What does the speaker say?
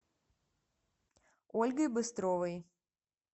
ольгой быстровой